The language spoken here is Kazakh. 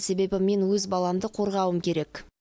себебі мен өз баламды қорғауым керек